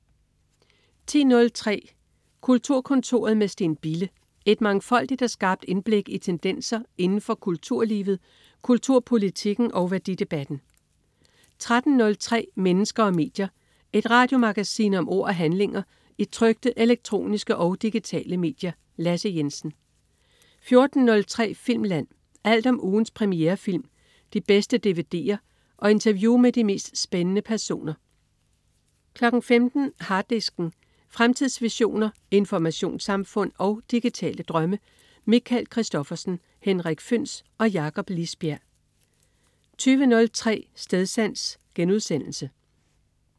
10.03 Kulturkontoret med Steen Bille. Et mangfoldigt og skarpt indblik i tendenser inden for kulturlivet, kulturpolitikken og værdidebatten 13.03 Mennesker og medier. Et radiomagasin om ord og handlinger i trykte, elektroniske og digitale medier. Lasse Jensen 14.03 Filmland. Alt om ugens premierefilm, de bedste dvd'er og interview med de mest spændende personer 15.00 Harddisken. Fremtidsvisioner, informationssamfund og digitale drømme. Michael Christophersen, Henrik Føhns og Jakob Lisbjerg 20.03 Stedsans*